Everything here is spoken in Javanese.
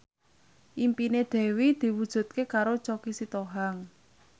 impine Dewi diwujudke karo Choky Sitohang